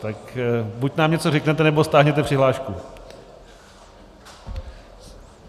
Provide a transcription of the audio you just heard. Tak buď nám něco řeknete, nebo stáhněte přihlášku.